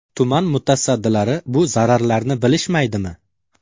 Tuman mutasaddilari bu zararlarni bilishmaydimi?